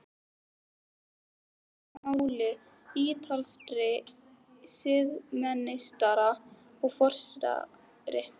Hér eiga hlut að máli ítalskir siðameistarar og forsetaritari.